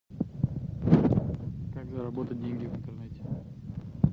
как заработать деньги в интернете